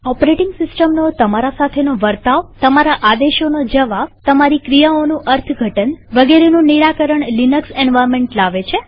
operating સિસ્ટમનો તમારા સાથેનો વર્તાવતમારા આદેશોનો જવાબતમારી ક્રિયાઓનું અર્થ ઘટન વગેરેનું નિરાકરણ લિનક્સ એન્વાર્નમેન્ટ લાવે છે